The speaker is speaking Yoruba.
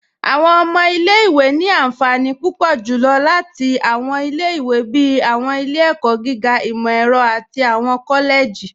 Awọn ọmọ ilẹ̀-ìwé ni ànfànì púpọ̀ julọ́ láti awọn ilẹ̀-ìwé bíi awọn ilẹ̀-ẹ̀kọ̀ gígà, imọ-ẹrọ̀, àti awọn kọ́lẹ̀jì.